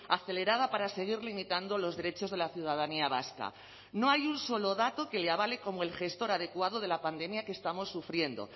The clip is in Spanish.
acelerada para seguir limitando los derechos de la ciudadanía vasca no hay un solo dato que le avale como el gestor adecuado de la pandemia que estamos sufriendo